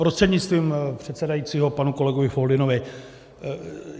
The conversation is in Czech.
Prostřednictvím předsedajícího panu kolegovi Foldynovi.